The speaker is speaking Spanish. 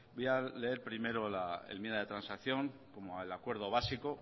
voy a leer primero la enmienda de transacción como el acuerdo básico